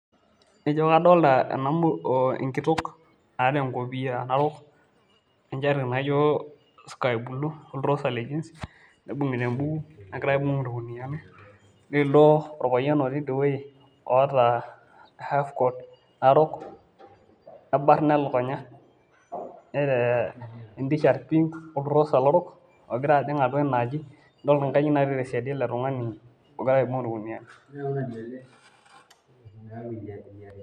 Ijo kadolta enkitok naata enkopiyia narok, enchati naijo sky blue, oltrosa le jeans, nibung'ita ebuku, negira aibung' irkuniyiani. Nilo orpayian otii idiewoi oota half coat narok, nebarna elukunya, neta entishat pink oltrosa lorok, ogira ajing' atua enaaji, idol inkajijik natii tesiadi ele tung'ani, ogira aibung' orkuniyia.